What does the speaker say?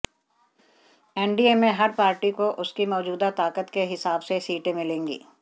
NDA में हर party को उसकी मौजूदा ताकत के हिसाब से सीटें मिलेंगी